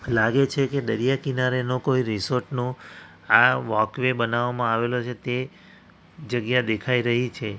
લાગે છે કે દરિયા કિનારે નો કોઈ રિસોર્ટ નો આ વોકવે બનાવવામાં આવેલો છે તે જગ્યા દેખાઈ રહી છે.